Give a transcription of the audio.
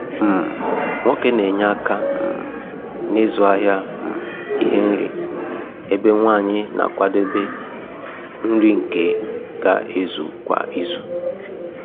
um Nwoke n'enye aka um n'ịzụ ahịa um ihe nri, ebe Nwanyi na-akwadebe nri nke ga ezu kwa izu.